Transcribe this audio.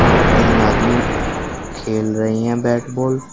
और तीन आदमी खेल रही हैं बैट बॉल ।